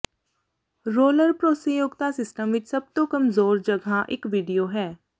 roller ਭਰੋਸੇਯੋਗਤਾ system ਵਿੱਚ ਸਭ ਤੋਂ ਕਮਜ਼ੋਰ ਜਗ੍ਹਾ ਇੱਕ ਵੀਡੀਓ ਹੈ